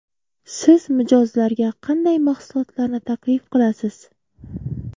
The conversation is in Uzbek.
Siz mijozlarga qanday mahsulotlarni taklif qilasiz?